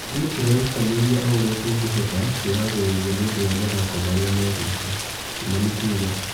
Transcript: Ithuĩ tũrerutanĩ ria o ũria tũngĩ hota kwĩ harĩ ria nĩ ũndũ wa mathako marĩ a megũka." Kimani kuga.